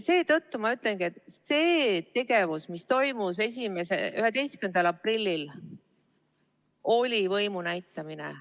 Seetõttu ma ütlengi, et see tegevus, mis toimus 11. aprillil, oli võimu näitamine.